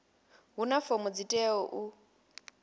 huna fomo dzi teaho u